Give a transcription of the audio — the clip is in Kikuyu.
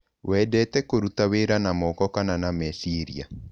Wendete kũruta wĩra na moko kana na meciria?